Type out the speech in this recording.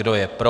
Kdo je pro?